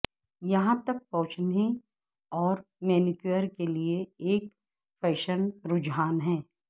یہاں تک پہنچنے اور مینیکیور کے لئے ایک فیشن رجحان ہے